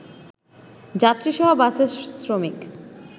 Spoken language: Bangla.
যাত্রীসহ বাসের শ্রমিক